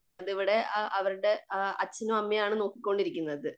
ഇവിടെ ആ അവരുടെ അച്ഛനും അമ്മയുമാണ് നോക്കികൊണ്ടിരിക്കുന്നതു.